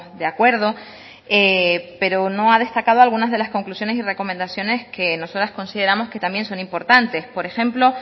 de acuerdo pero no ha destacado alguna de las conclusiones y recomendaciones que nosotras consideramos que también son importantes por ejemplo